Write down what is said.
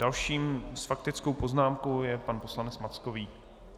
Dalším s faktickou poznámkou je pan poslanec Mackovík.